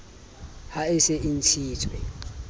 ha e se e ntshitswe